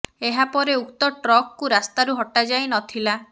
ଏହା ପରେ ଉକ୍ତ ଟ୍ରକଙ୍କୁ ରାସ୍ତାରୁ ହଟାଯାଇ ନ ଥିଲା